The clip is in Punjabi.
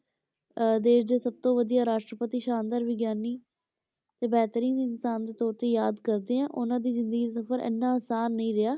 ਅਹ ਦੇਸ ਦੇ ਸਭ ਤੋਂ ਵਧੀਆ ਰਾਸ਼ਟਰਪਤੀ, ਸ਼ਾਨਦਾਰ ਵਿਗਿਆਨੀ, ਤੇ ਬਿਹਤਰੀਨ ਇਨਸਾਨ ਦੇ ਤੌਰ ਤੇ ਯਾਦ ਕਰਦੇ ਹਾਂ, ਉਹਨਾਂ ਦੀ ਜ਼ਿੰਦਗੀ ਦਾ ਸਫ਼ਰ ਇੰਨਾ ਆਸਾਨ ਨੀ ਰਿਹਾ